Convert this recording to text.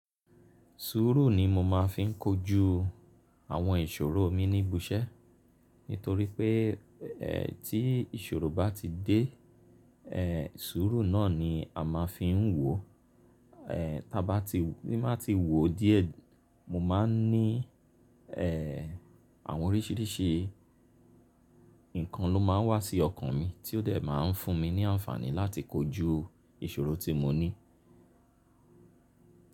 Sùúrù ni mo máa ń fi kojú àwọn ìṣòro mi ní ibi iṣẹ́ nítorí pé, tí ìṣòro bá ti dé, sùúrù náà ni a máa ń fi wò ó. Tí a bá ti wò ó díẹ̀, mo máa ń ní, àwọn oríṣìíríṣìí nǹkan ló máa ń wá sí ọkàn mi tí ó dẹ̀ máa ń fún mi ní àǹfààní láti kojú ìṣòro tí mo ní.